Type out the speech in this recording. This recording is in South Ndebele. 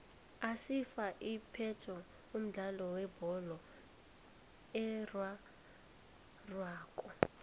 isafa iphethe umdlalo webholo erarhwako